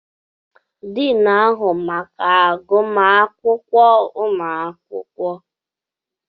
Diin n'ahụ maka agụmakwụkwọ ụmụ akwụkwọ.